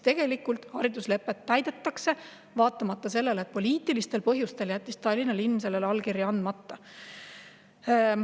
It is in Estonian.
Tegelikult hariduslepet täidetakse, vaatamata sellele, et poliitilistel põhjustel jättis Tallinna linn sellele allkirja andmata.